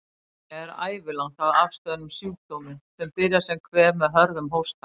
Ónæmi er ævilangt að afstöðnum sjúkdómi, sem byrjar sem kvef með hörðum hósta.